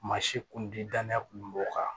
Maa si kundi danaya kun b'o kan